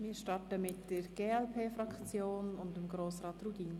Wir starten mit der glp-Fraktion und Grossrat Rudin.